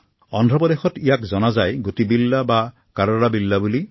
অন্ধ্ৰপ্ৰদেশত ইয়াক কোৱা হয় গুটিবিল্লা বা কাৰাবিল্লা